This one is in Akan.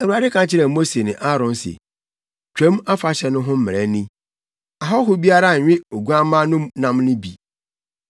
Awurade ka kyerɛɛ Mose ne Aaron se, “Twam Afahyɛ no ho mmara ni: “Ahɔho biara nnwe oguamma no nam no bi.